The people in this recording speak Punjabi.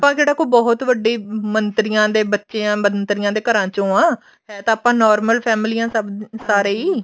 ਆਪਾਂ ਕਿਹੜਾ ਕੋਈ ਬਹੁਤ ਵੱਡੇ ਮੰਤਰੀਆਂ ਦੇ ਬੱਚੇ ਮੰਤਰੀਆਂ ਦੇ ਘਰਾਂ ਚੋ ਆ ਹੈ ਤਾਂ ਆਪਾਂ normal ਫ਼ੈਮਿਲੀਆਂ ਸਾਰੇ ਹੀ